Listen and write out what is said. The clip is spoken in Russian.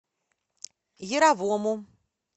яровому